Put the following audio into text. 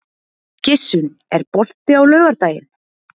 Gissunn, er bolti á laugardaginn?